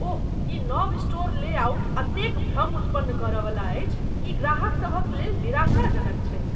ओह, ई नव store layout एतेक भ्रम उत्पन्न कर वाला अछि। ई ग्राहकसभक लेल निराशाजनक छैक ।